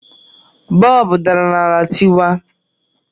Bọọbụ dara n'ala tịwaa